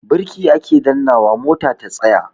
Birki ake dannnawa mota ta tsaya.